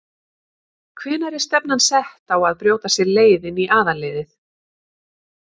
Hvenær er stefnan sett á að brjóta sér leið inn í aðalliðið?